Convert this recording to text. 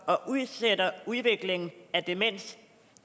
og udsætter udviklingen af demens